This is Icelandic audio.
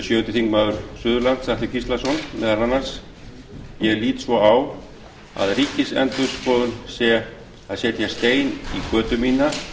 sjöundi þingmaður suðurkjördæmis atli gíslason meðal annars ég lít svo á að ríkisendurskoðun sé að setja stein í götu mína þá götu sem